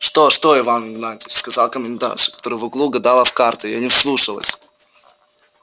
что что иван игнатьич сказала комендантша которая в углу гадала в карты я не вслушалась